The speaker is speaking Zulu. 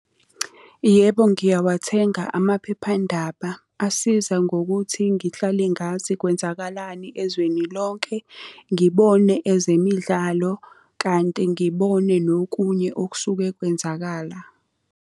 Yebo ngiyawathenga amaphephandaba. Asiza ngokuthi ngihlale ngazi kwenzakalani ezweni lonke, ngibone ezemidlalo kanti ngibone nokunye okusuke kwenzakala.